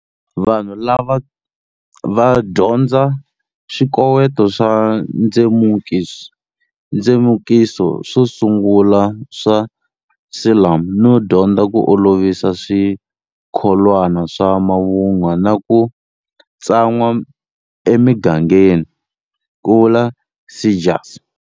Vanhu lava va dyondza swikoweto swa ndzemukiso swo sungula swa Siluan no dyondza ku olovisa swi kholwana swa mavunwa na ku tsan'wa emigangeni, Ku vula Seegers.